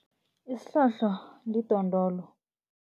Isihlohlo lidondolo.